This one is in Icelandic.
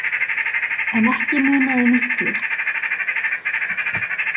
En ekki munaði miklu.